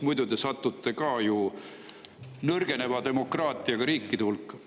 Muidu me sattume ju ka nõrgeneva demokraatiaga riikide hulka.